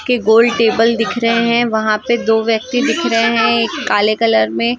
के गोल टेबल दिख रहे वह पे दो व्यक्ति दिख रहे हैं एक काले कलर में।